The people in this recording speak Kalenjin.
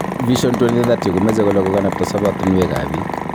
Vision 2030 komeche kole kakanapta sobotinwekab biik